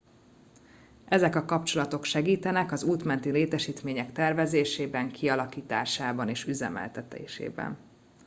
ezek a kapcsolatok segítenek az út menti létesítmények tervezésében kialakításában és üzemeltetésében